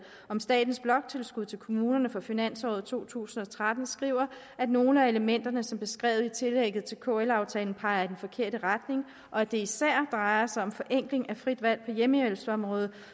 om statens bloktilskud til kommunerne for finansåret to tusind og tretten skriver at nogle af elementerne som er beskrevet i tillægget til kl aftalen peger i den forkerte retning og at det især drejer sig om forenkling af frit valg på hjemmehjælpsområdet